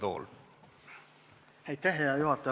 Hea juhataja!